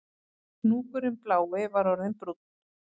Hnúkurinn blái var orðinn brúnn